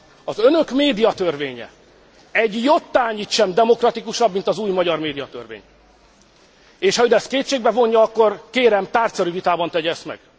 Az önök médiatörvénye egy jottányit sem demokratikusabb, mint az új magyar médiatörvény, és ha ön ezt kétségbe vonja, akkor kérem, tárgyszerű vitában tegye ezt meg.